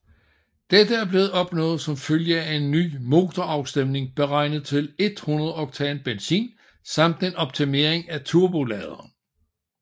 Dette er blevet opnået som følge af en ny motorafstemning beregnet til 100 oktan benzin samt en optimering af turboladeren